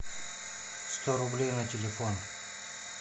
сто рублей на телефон